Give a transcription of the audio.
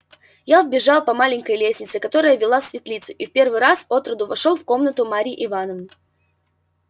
я вбежал по маленькой лестнице которая вела в светлицу и в первый раз отроду вошёл в комнату марьи ивановны